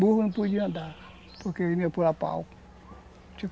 Burro não podia andar, porque ele vinha pau.